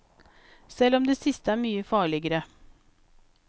Selv om det siste er mye farligere.